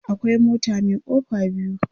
akwai mota Mai kofa biyu